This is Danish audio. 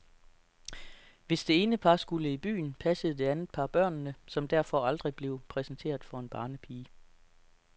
Hvis det ene par skulle i byen, passede det andet par børnene, som derfor aldrig blev præsenteret for en barnepige.